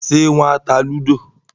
Ṣé wọ́n ta lúdò?